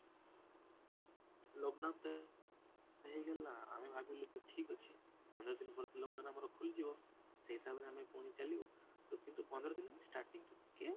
lockdown ତ ହେଇଗଲା ଆମେ ଭାବିଲୁ କି ଠିକ ଅଛି ପନ୍ଦର ଦିନ ପରେ ତ lockdown ଆମର ଖୋଲି ଯିବ ସେଇ ହିସାବରେ ଆମେ ପୁଣି ଚାଲିବୁ, ତ କିନ୍ତୁ ପନ୍ଦର ଦିନ stating ତ ଟିକେ